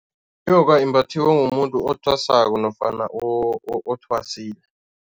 Inyoka imbathiwa ngumuntu othwasako nofana othwasile.